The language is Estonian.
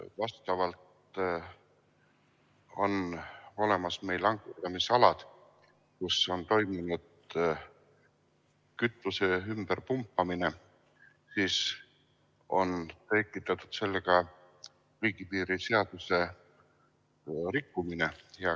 ... kuna vastavalt on olemas meil ankurdamisalad, kus on toimunud kütuse ümberpumpamine, siis on tekitatud sellega riigipiiri seaduse rikkumine.